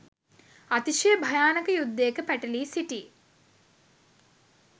අතිශය භයානක යුද්ධයක පැටලී සිටි